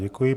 Děkuji.